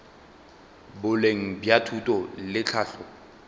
boleng bja thuto le tlhahlo